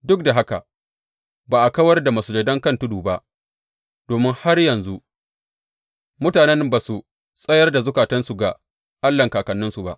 Duk da haka ba a kawar da masujadai kan tudu ba, domin har yanzu mutanen ba su tsayar da zukatansu ga Allahn kakanninsu ba.